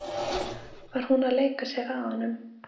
Var hún að leika sér að honum?